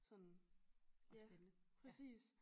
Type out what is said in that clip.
Sådan ja præcis